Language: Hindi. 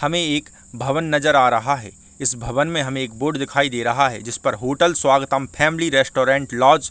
हमे एक भवन नज़र आ रहा है इस भवन में एक बोर्ड दिखाई दे रहा है जिस पर hotel Swagatam family restaurant lodge --